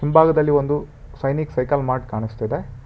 ಭಾಗದಲ್ಲಿ ಒಂದು Sainik cycle mart ಕಾಣಿಸ್ತಿದೆ.